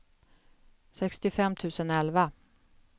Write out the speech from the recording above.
sextiofem tusen elva